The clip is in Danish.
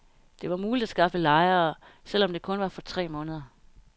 Det var muligt at skaffe lejere, selvom det kun var for tre måneder.